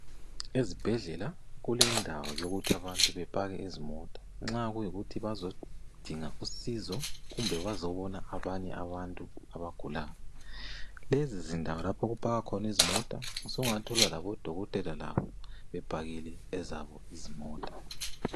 Ezibhedlela kulendawo yokuthi abantu bepake izimota nxa kuykuthi bazodinga usizo kumbe bazobona abanye abantu abagulayo, lezi ndawo lapho okupakwa khona izimota sungathola labodokotela labo bepakile ezabo izimota.